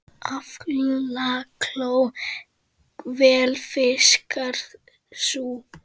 Aflakló vel fiskar sú.